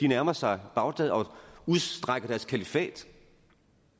nærmer sig bagdad og udstrækker deres kalifat